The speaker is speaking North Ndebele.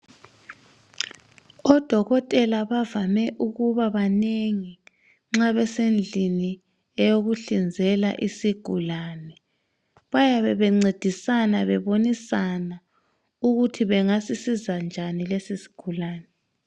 Odokotela bavame ukubabanengi nxa besendlini eyokuhlinzela isigulani, bayabe bencedisana bebonisana ukuthi bangasisiza njani lesisigulani.